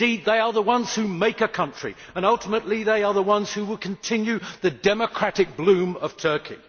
Indeed, they are the ones who make a country and ultimately they are the ones who will continue the democratic bloom of Turkey.